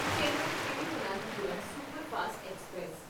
Chennai Thiruvananthapuram superfast express